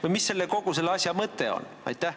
Või mis on kogu selle asja mõte?